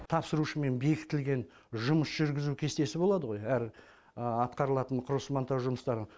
тапсырушымен бекітілген жұмыс жүргізу кестесі болады ғо әр атқарылатын құрылыс монтаж жұмыстары